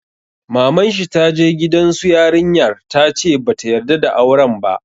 Maman shi ta je gidan su yarinya ta ce ba ta yarda da auren ba.